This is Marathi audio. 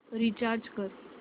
रीचार्ज कर